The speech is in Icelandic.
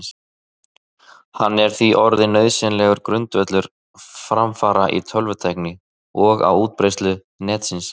Hann er því orðinn nauðsynlegur grundvöllur framfara í tölvutækni og á útbreiðslu Netsins.